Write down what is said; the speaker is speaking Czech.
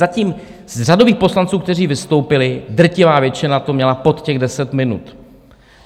Zatím z řadových poslanců, kteří vystoupili, drtivá většina to měla pod těch 10 minut.